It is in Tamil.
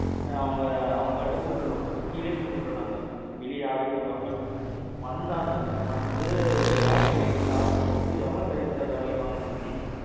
அவங்க கிட்ட கூப்டோன் நாங்க, Suzuki லேயே கூப்டோம் நாங்க. வெளிய யாரையும் கூப்பிடாம. வந்தாங்க, வந்து battery charge போட்டு, எவ்வளவு service charge வாங்கிற்பாங்க இன்னு நினைக்கிறீங்க?